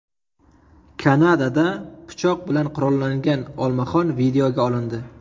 Kanadada pichoq bilan qurollangan olmaxon videoga olindi .